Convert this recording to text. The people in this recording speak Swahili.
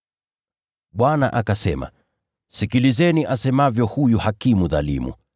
Bwana akasema, “Sikilizeni asemavyo huyu hakimu dhalimu.